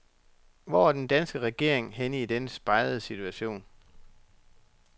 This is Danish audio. Hvor er den danske regering henne i denne spegede situation.